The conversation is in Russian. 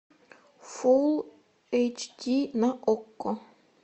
фул эйч ди на окко